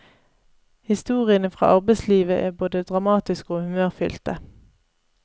Historiene fra arbeidslivet er både dramatiske og humørfyllte.